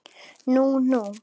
Nú nú.